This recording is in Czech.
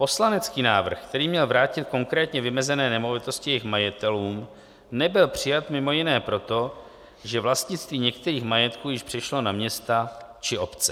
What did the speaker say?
Poslanecký návrh, který měl vrátit konkrétně vymezené nemovitosti jejich majitelům, nebyl přijat mimo jiné proto, že vlastnictví některých majetků již přešlo na města či obce.